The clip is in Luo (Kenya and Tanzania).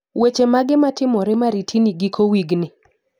Weche mage matimore maritini giko wigni?